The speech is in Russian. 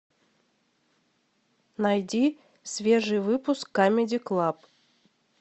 найди свежий выпуск камеди клаб